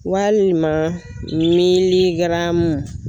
Walima